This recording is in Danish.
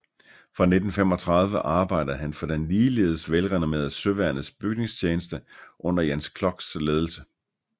Fra 1935 arbejdede han for den ligeledes velrenommerede Søværnets Bygningstjeneste under Jens Kloks ledelse